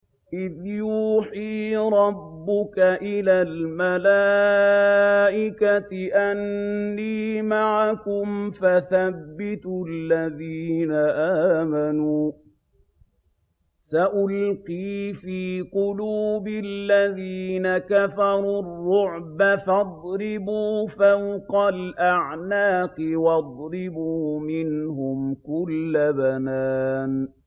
إِذْ يُوحِي رَبُّكَ إِلَى الْمَلَائِكَةِ أَنِّي مَعَكُمْ فَثَبِّتُوا الَّذِينَ آمَنُوا ۚ سَأُلْقِي فِي قُلُوبِ الَّذِينَ كَفَرُوا الرُّعْبَ فَاضْرِبُوا فَوْقَ الْأَعْنَاقِ وَاضْرِبُوا مِنْهُمْ كُلَّ بَنَانٍ